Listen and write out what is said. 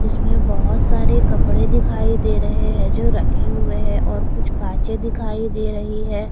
इसमें बहुत सारे कपड़े दिखाई दे रहे हैं जो रखे हुए हैं और कुछ कांचे दिखाई दे रही है।